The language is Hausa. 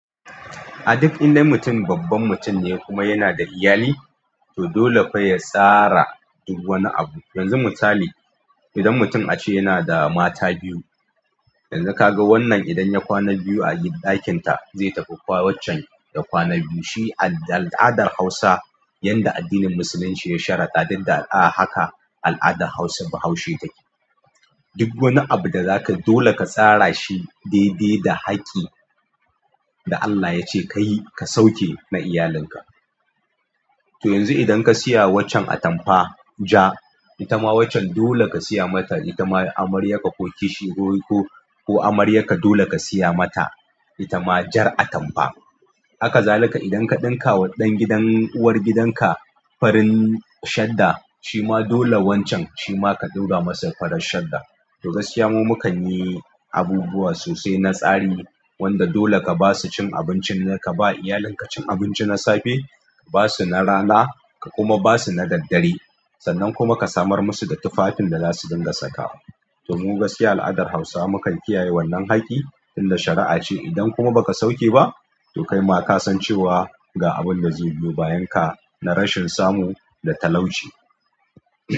A duk indai mutum babban mutum ne kuma yana da iyali, to dole fa ya tsara duk wani abu. Yanzu misali, idan mutum ace yana da mata biyu, yanzu kaga wannan idan ya kwana biyu a gid, ɗakin ta, zai tafi kwa, waccen ya kwana biyu. Shi ad-al'adar hausa, yanda addinin musulunci ya sharaɗa, duk da a haka al'adar hausa bahaushe take. Duk wani abu da zakayi dole ka tsara shi daidai da haƙƙi da Allah yace kayi, ka sauke na iyalinka. To yanzu idan ka siya waccan atamfa ja, ita ma waccen dole ka siya mata. Itama amaryarka ko kishi ko, ko, ko amaryarka dole ka siya mata ita ma jar atamfa. Haka zalika idan ka ɗinkawa ɗan gidan, uwargidan ka farin shadda, shima dole wancan shima ka ɗaura masa farar shadda. To, gaskiya mu mukan yi abubuwa sosai na tsari wanda dole ka basu cin abincin, ka ba iyalinka cin abinci na safe, basu na rana ka kuma basu na daddare. Sannan kuma ka samar musu da tufafin da zasu dinga saka wa to, mu gaskiya al'adar hausawa mukan kiyaye wannan haƙƙi tunda shara'a ce. Idan kuma baka sauke ba, to kaima kasan cewa ga abinda zai biyo bayanka na rashin samu da talauci.